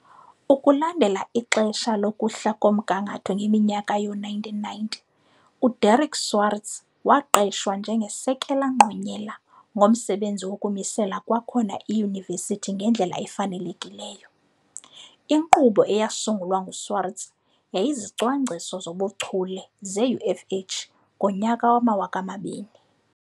Ukulandela ixesha lokuhla komgangatho ngeminyaka yoo 1990, uDerrick Swarts waqeshwa njengeSekela Ngqonyela ngomsebenzi wokumisela kwakhona iyunivesiti ngendlela efanelekileyo. Inkqubo eyasungulwa nguSwarts yayiziziCwangciso zoBuchule zeUFH ngonyaka 2000.